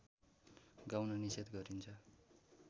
गाउन निषेध गरिन्छ